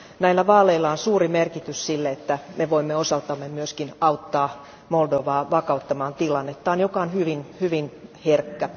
Näillä vaaleilla on suuri merkitys sille, että me voimme osaltamme myöskin auttaa Moldovaa vakauttamaan tilannettaan, joka on hyvin hyvin herkkä.